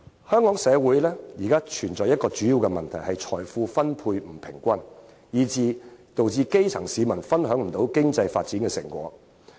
香港社會現時面對一大問題，就是財富分配不均，致使基層市民無法享受到經濟發展的成果。